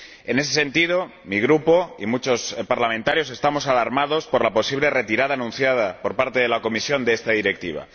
En ese sentido, mi grupo y muchos parlamentarios estamos alarmados por la posible retirada, anunciada por parte de la Comisión, de esta Directiva.